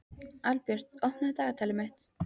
Albjört, opnaðu dagatalið mitt.